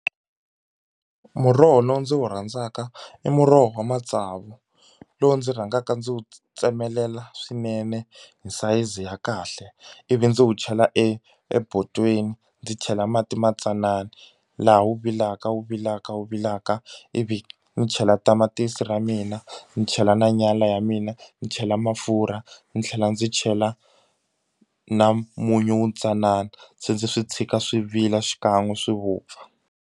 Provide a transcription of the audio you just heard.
Muroho lowu ndzi wu rhandzaka i muroho wa matsavu lowu ndzi rhangaka ndzi wu tsemelela swinene hi sayizi ya kahle ivi ndzi wu chela e ebodweni ndzi chela mati matsanana laha wu vilaka wu vilaka wu vilaka ivi ni chela tamatisi ra mina ndzi chela na nyala ya mina ni chela mafurha ndzi tlhela ndzi chela na munyu wu ntsanana se ndzi swi tshika swi vila xikan'we swi vupfa.